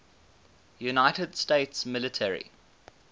united states military